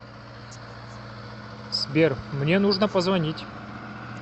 сбер мне нужно позвонить